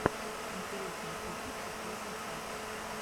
интересный фикус последняя часть